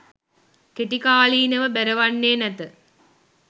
කෙටිකාලීනව බැරවන්නේ නැත